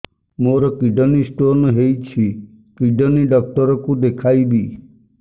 ମୋର kidney stone ହେଇଛି kidney doctor କୁ ଦେଖାଇବି